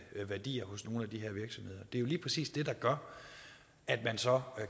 værdier hos nogle af de her virksomheder det er jo lige præcis det der gør at man så